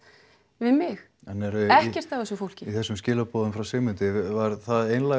við mig ekkert af þessu fólki en í þessum skilaboðum frá Sigmundi var það einlæg